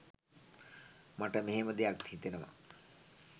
මට මෙහෙම දෙයක් හිතෙනවා